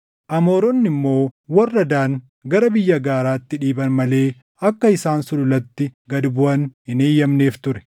Amooronni immoo warra Daan gara biyya gaaraatti dhiiban malee akka isaan sululatti gad buʼan hin eeyyamneef ture.